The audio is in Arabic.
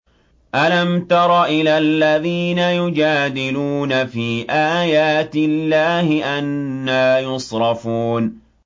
أَلَمْ تَرَ إِلَى الَّذِينَ يُجَادِلُونَ فِي آيَاتِ اللَّهِ أَنَّىٰ يُصْرَفُونَ